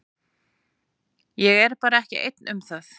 Ég er bara ekki einn um það.